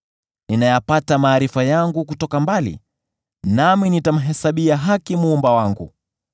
Ninayapata maarifa yangu kutoka mbali, nami nitamhesabia haki Muumba wangu.